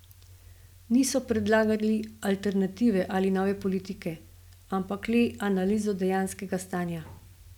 Niso predlagali alternative ali nove politike, ampak le analizo dejanskega stanja.